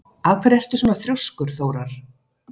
Af hverju ertu svona þrjóskur, Þórar?